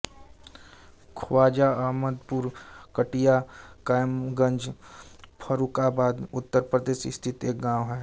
ख्वाजा अहमदपुर कटिया कायमगंज फर्रुखाबाद उत्तर प्रदेश स्थित एक गाँव है